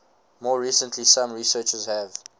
more recently some researchers have